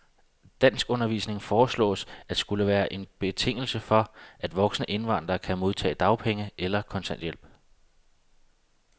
Danskundervisning foreslås at skulle være en betingelse for, at voksne indvandrere kan modtage dagpenge eller kontanthjælp.